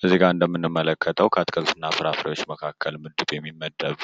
ከዚህ ጋ እንደምንመለከተው ከአትክልትና ፍራፍሬዎች መካክል ምድብ የሚመደብ